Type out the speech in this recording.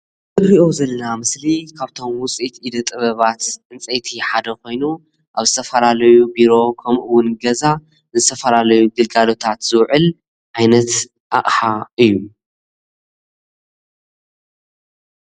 እንሪኦ ዘለና ምስሊ ካብቶሞ ውፅኢት ኢደ ጥበባት ዕንፀይቲ ሓደ ኮይኑ ኣብ ዝተፈላለዩ ቢሮ ከምኡ እውን ገዛ ንዝተፈላለዩ ግልጋሎታት ዝውዕል ዓይነት ኣቕሓ እዩ፡፡